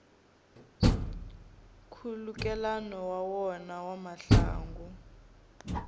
nkhulukelano wa wona wa mahungu